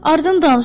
Ardın danış.